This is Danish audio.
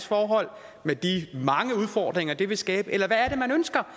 forhold med de mange udfordringer det vil skabe eller hvad er det man ønsker